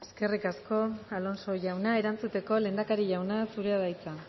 eskerrik asko alonso jauna erantzuteko lehendakari jauna zurea da hitza